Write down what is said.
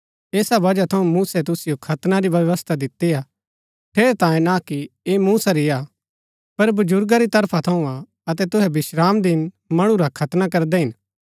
ऐसा बजहा थऊँ मूसै तुसिओ खतना री व्यवस्था दिती हाठेरैतांये ना कि ऐह मूसा री हा पर बजुर्गा री तरफा थऊँ हा अतै तुहै विश्रामदिन मणु रा खतना करदै हिन